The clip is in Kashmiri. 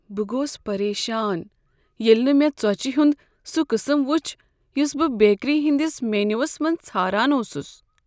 بہٕ گوس پریشان ییٚلہ نہٕ مےٚ ژوچِہ ہنٛد سُہ قسم وچھ یس بہٕ بیکری ہنٛدس مینوس منٛز ژھاران اوسس۔